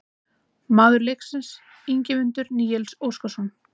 Maður leiksins: Ingimundur Níels Óskarsson